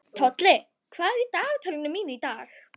Tolli, hvað er í dagatalinu mínu í dag?